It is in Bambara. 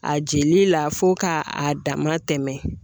A jeli la fo ka a dama tɛmɛ .